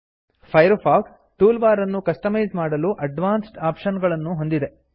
fire fox toolbar ಅನ್ನು customise ಮಾಡಲು advanced option ಗಳನ್ನೂ ಹೊಂದಿದೆ